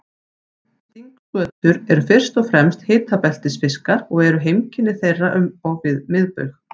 Stingskötur eru fyrst og fremst hitabeltisfiskar og eru heimkynni þeirra um og við miðbaug.